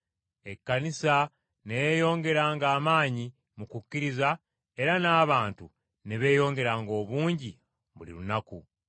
Ekkanisa ne yeeyongeranga amaanyi mu kukkiriza era n’abantu ne beeyongera obungi buli lunaku.